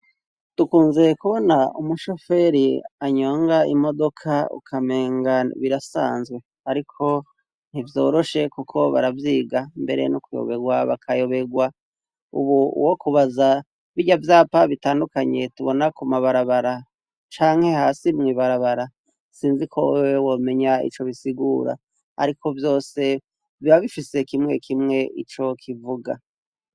Dukunze kubona umushoferi anyonga imodoka ukamenga birasanzwe, ariko ntivyoroshe, kuko baravyiga mbere n'ukuyoberwa bakayoberwa, ubu uwo kubaza birya vyapa bitandukanye tubona ku mabarabara canke hasi mwibarabara sinzi koe wewe womenya ico bisigura, ariko vyose bibabifise kimwe kimwe ico kivuga.